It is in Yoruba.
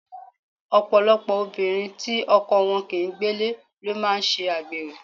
Ọ̀pọ̀lọpọ̀ obìnrin tí ọkọ wọn kì ń gbélé ló máa ń ṣe àgbèrè.